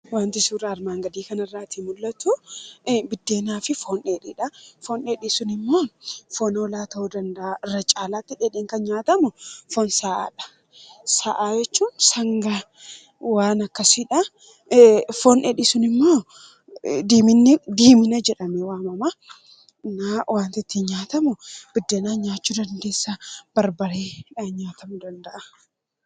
wanti suura armaan gadii kan irraatii mul'atu biddeenaa fi foon dheedhiidha. foon deedhii sun immoo foon hoolaa ta'u danda'a irra caalaatti dhh kan nyaatamu foon sa’aadha. sa’a jechuu sangaa waan akkasiidha foondhedhii sun immoo diimina jedhame waamama naa wantittin nyaatamu biddeenaa nyaachuu dandeessa barbareedha nyaatamu danda’a